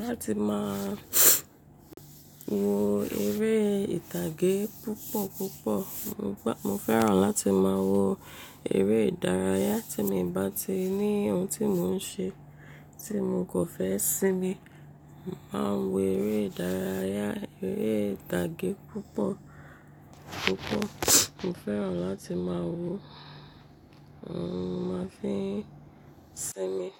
láti máa wo eré ìtàgé púpọ̀ púpọ̀. Mo fẹ́ràn láti máa wo eré ìdárayá tí mo bá ti ní ohun tí mò ń ṣe tí mo kàn fẹ́ sinmi. Mo máa ń wo eré ìdárayá, eré ìtàgé púpọ̀ púpọ̀. Mo fẹ́ràn láti máa wò ó, óhun mo máa fi sinmi.